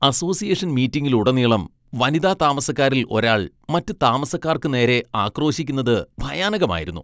Association മീറ്റിംഗിലുടനീളം വനിതാ താമസക്കാരിൽ ഒരാൾ മറ്റ് താമസക്കാർക്ക് നേരെ ആക്രോശിക്കുന്നത് ഭയാനകമായിരുന്നു.